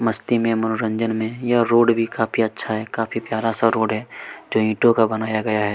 मस्ती में मनोरंजन में यह रोड भी काफी अच्छा है काफी प्यारा- सा रोड है जो ईंटो का बनाया गया हैं।